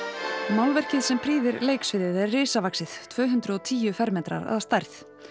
málverkið sem prýðir leiksviðið er risavaxið tvö hundruð og tíu fermetrar að stærð